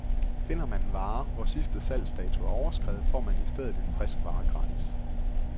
Finder man en vare, hvor sidste salgsdato er overskredet, får man i stedet en frisk vare gratis.